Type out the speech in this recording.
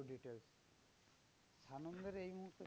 Details সানন্দার এই মুহূর্তে